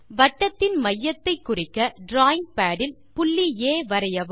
வட்டத்தின் மையத்தை குறிக்க டிராவிங் பாட் இல் புள்ளி ஆ வரையவும்